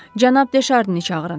Cənab De Şarnini çağırın.